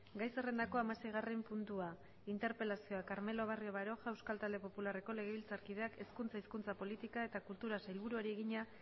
gai zerrendako hamaseigarren puntua interpelazioa carmelo barrio baroja euskal talde popularreko legebiltzarkideak hezkuntza hizkuntza politika eta kulturako sailburuari egina